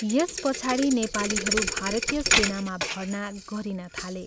यस पछाडि नेपालीहरू भारतीय सेनामा भर्ना गरिन थाले।